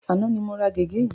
Àná ni mo ra gègé yìí.